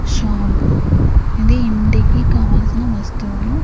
Shop ఇది ఇంటికి కావలసిన వస్తువులు.